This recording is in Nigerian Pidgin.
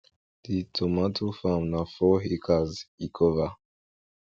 di tomato farm na four hectares e cover